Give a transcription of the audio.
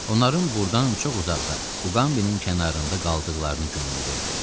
Onların burdan çox uzaqda, Uqambinin kənarında qaldıqlarını güman edirdi.